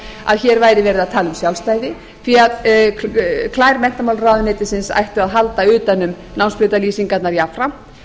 að hér væri verið að tala um sjálfstæði því að klær menntamálaráðuneytisins ættu að halda utan um námsbrautalýsingarnar jafnframt